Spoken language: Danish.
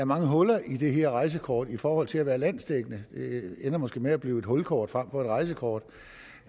mange huller i det her rejsekort i forhold til at være landsdækkende det ender måske med at blive et hulkort frem for et rejsekort